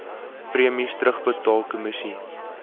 premies terugbetaal kommissie